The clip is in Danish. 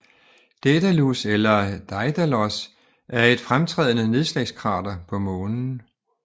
Daedalus eller Daidalos er et fremtrædende nedslagskrater på Månen